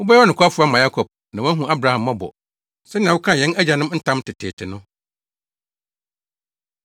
Wobɛyɛ ɔnokwafo ama Yakob na woahu Abraham mmɔbɔ sɛnea wokaa yɛn agyanom ntam teteete no.